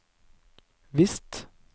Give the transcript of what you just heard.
visst